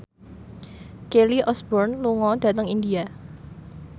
Kelly Osbourne lunga dhateng India